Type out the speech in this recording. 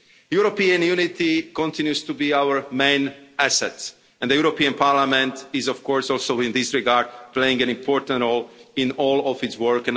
European unity continues to be our main asset, and the European Parliament is of course also in this regard playing an important role in all of its